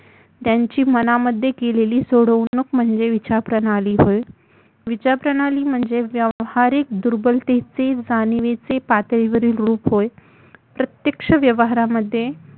त्यांची मनामध्ये केलेली सोडवणूक म्हणजे विचारप्रणाली होय विचारप्रणाली म्हणजे व्यावहारिक दुर्बलतेचे जाणीवीचे पातळीवरील रुप होय